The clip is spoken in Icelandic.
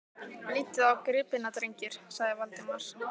Lítið á gripina, drengir! sagði Valdimar.